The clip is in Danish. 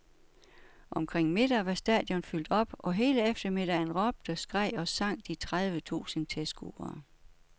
Omkring middag var stadion fyldt op, og hele eftermiddagen råbte, skreg og sang de tredive tusind tilskuere.